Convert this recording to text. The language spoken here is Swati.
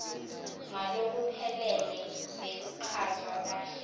ngalokuphelele nekuchazwa kahle